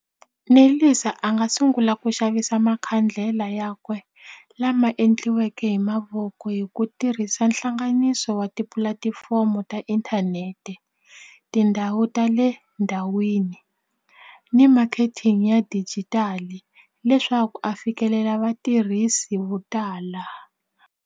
Nelisa a nga sungula ku xavisa makhandlela ya kwe lama endliweke hi mavoko hi ku tirhisa hlanganiso wa tipulatifomo ta inthanete, tindhawu ta le ndhawini ni marketing ya digital leswaku a fikelela vatirhisi vo tala.